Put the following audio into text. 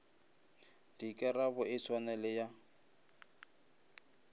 dikarabo e swane le ya